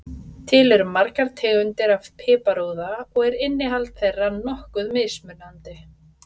Til eru margar tegundir af piparúða og er innihald þeirra nokkuð mismunandi.